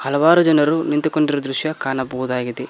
ಹಲವಾರು ಜನರು ನಿಂತುಕೊಂಡಿರುವ ದೃಶ್ಯ ಕಾಣಬಹುದಾಗಿದೆ.